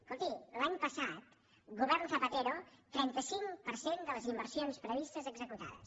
escolti l’any passat govern zapatero trenta cinc per cent de les inversions previstes executades